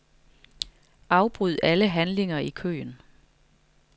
Afbryd alle handlinger i køen.